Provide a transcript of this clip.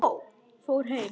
Fór heim?